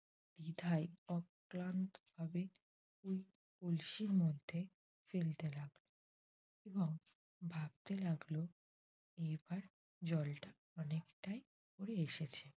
দ্বিধায় অক্লান্তভাবে ওই কলসির মধ্যে ফেলতে লাগল এবং ভাবতে লাগল এবার জলটা অনেকটাই উপরে এসেছে।